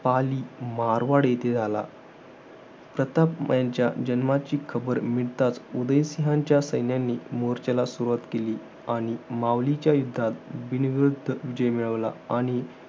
पाली, मारवाड येथे झाला. प्रताप यांच्या जन्माची खबर मिळताच, उदय सिंहाच्या सैन्यांनी मोर्चेला सुरवात केली. आणि मावलीच्या विरोधात बिनविरुद्ध जय मिळवला. आणि